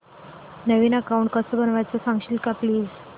नवीन account कसं बनवायचं सांगशील का प्लीज